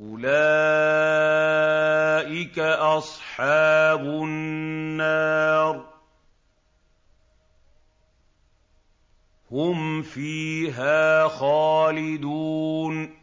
أُولَٰئِكَ أَصْحَابُ النَّارِ ۖ هُمْ فِيهَا خَالِدُونَ